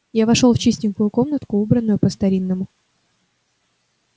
я вошёл в чистенькую комнатку убранную по-старинному